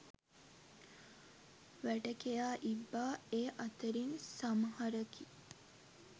වැටකෙයා ඉබ්බා ඒ අතරින් සමහරකි.